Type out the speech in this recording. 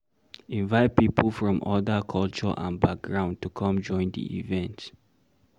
Invite pipo from other culture and background to come join di event